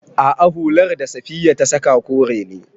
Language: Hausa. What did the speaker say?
A'a, hular da Safiya ta saƙa kore ne.